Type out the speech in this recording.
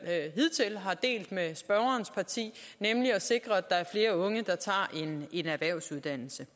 hidtil har delt med spørgerens parti nemlig at sikre at der er flere unge der tager en erhvervsuddannelse